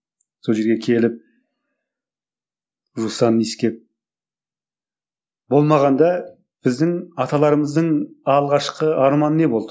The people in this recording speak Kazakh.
сол жерге келіп жусанын иіскеп болмағанда біздің аталарымыздың алғашқы арманы не болды